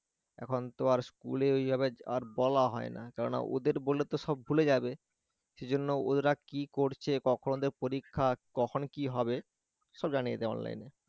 এখন তো আর school এ ওইভাবে আর বলা হয় না কেননা ওদের বললে তো সব ভুলে যাবে সেজন্য ওরা কি করছে কখন ওদের পরীক্ষা কখন কি হবে সব জানিয়ে দেয় online এ